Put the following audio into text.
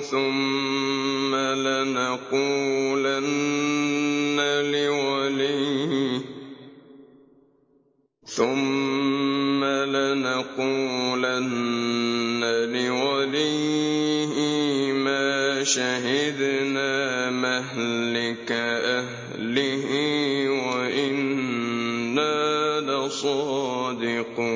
ثُمَّ لَنَقُولَنَّ لِوَلِيِّهِ مَا شَهِدْنَا مَهْلِكَ أَهْلِهِ وَإِنَّا لَصَادِقُونَ